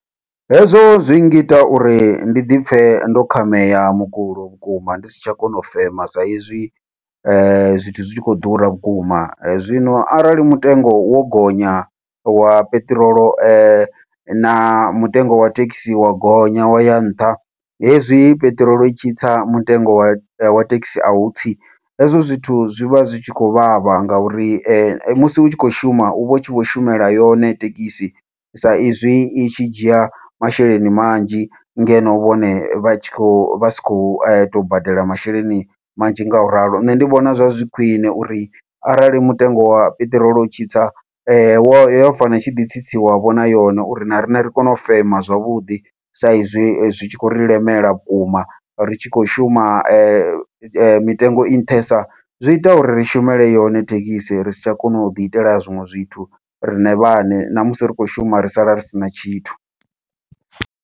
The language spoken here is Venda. Hezwo zwi ngita uri ndi dipfhe ndo khameya mukulo vhukuma ndi si tsha kona u fema saizwi zwithu zwikho ḓura vhukuma, zwino arali mutengo wo gonya wa peṱirolo na mutengo wa thekhisi wa gonya waya nṱha hezwi peṱirolo itshi tsa mutengo wa wa thekhisi au tsi, hezwo zwithu zwivha zwi tshi khou vhavha ngauri musi utshi kho shuma uvha utshi vho shumela yone thekhisi sa izwi i tshi dzhia masheleni manzhi ngeno vhone vha tshi kho vha si khou tou badela masheleni manzhi ngauralo. Nṋe ndi vhona zwa zwi khwiṋe uri arali mutengo wa peṱirolo u tshi tsa wo fanela utshi ḓi tsitsiwa vho na yone uri na riṋe ri kone u fema zwavhuḓi, sa izwi zwi tshi khou ri lemela vhukuma ri tshi khou shuma mitengo i nṱhesa zwi ita uri ri shumele yone thekhisi ri si tsha kona u ḓi itela zwiṅwe zwithu riṋe vhaṋe namusi ri tshi khou shuma ri sala ri sina tshithu.